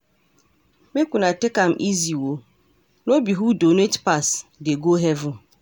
make una take am easy oo, no be who donate pass dey go heaven.